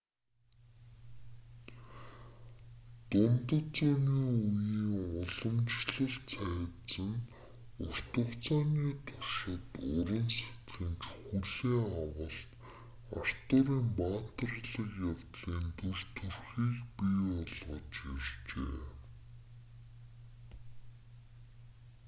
дундад зууны үеийн уламжлалт цайз нь урт хугацааны туршид уран сэтгэмж хүлээн авалт артурын баатарлаг явдлын дүр төрхийг бий болгож иржээ